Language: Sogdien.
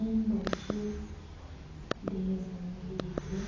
Endhoki dhe zingirire